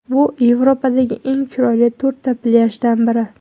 Bu Yevropadagi eng chiroyli to‘rtta plyajdan biri.